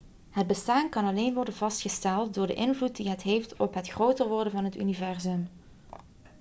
het bestaan kan alleen worden vastgesteld door de invloed die het heeft op het groter worden van het universum